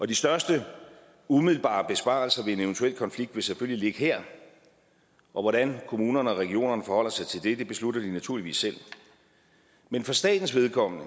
de største umiddelbare besparelser ved en eventuel konflikt vil selvfølgelig ligge her og hvordan kommunerne og regionerne forholder sig til det beslutter de naturligvis selv men for statens vedkommende